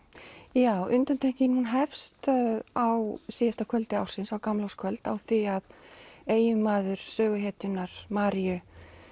já undantekningin hefst á síðasta kvöldi ársins gamlárskvöld á því að eiginmaður söguhetjunnar Maríu